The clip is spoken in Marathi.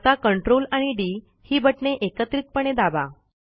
आता CTRL आणि डी ही बटणे एकत्रितपणे दाबा